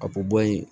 A ko bɔ yen